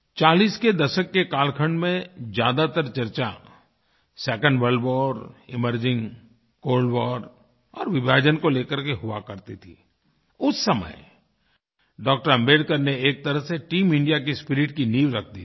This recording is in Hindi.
40 के दशक के कालखंड में ज़्यादातर चर्चा 2nd world war emerging cold war और विभाजन को लेकर के हुआ करती थी उस समय डॉ० आम्बेडकर ने एक तरह से टीम इंडिया की स्पिरिट की नींव रख दी थी